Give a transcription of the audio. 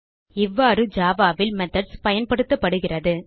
இவ்வாறு ஜாவா ல் மெத்தோட்ஸ் பயன்படுத்தப்படுகிறது